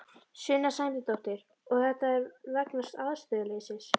Sunna Sæmundsdóttir: Og þetta er vegna aðstöðuleysis?